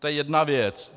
To je jedna věc.